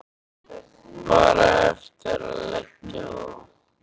Bara eftir að leggja á þá.